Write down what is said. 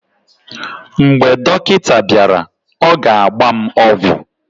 mgbe dọkịta bịara, ọ ga-agba m ọgwụ